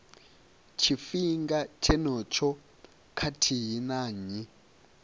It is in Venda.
tshifhinga tshenetsho khathihi na nnyi